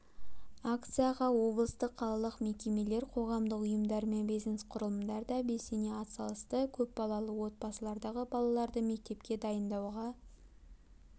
акцияға облыстық қалалық мекемелер қоғамдық ұйымдар мен бизнес-құрылымдар да белсене атсалысты көпбалалы отбасылардағы балаларды мектепке дайындауға